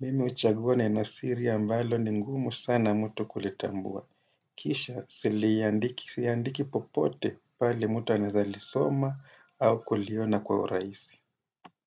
mimi huchagua nenosiri ambalo ni ngumu sana mtu kulitambua. Kisha siliandiki popote pale mtu anawrza lisoma au kuliona kwa urahisi.